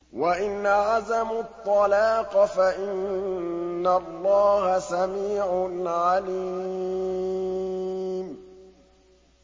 وَإِنْ عَزَمُوا الطَّلَاقَ فَإِنَّ اللَّهَ سَمِيعٌ عَلِيمٌ